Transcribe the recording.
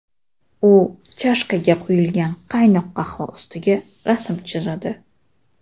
U chashkaga quyilgan qaynoq qahva ustiga rasm chizadi.